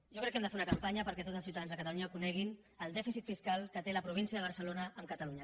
jo crec que hem de fer una campanya perquè tots els ciutadans de catalunya cone·guin el dèficit fiscal que té la província de barcelona amb catalunya